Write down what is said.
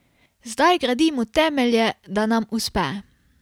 Zdaj gradimo temelje, da nam uspe.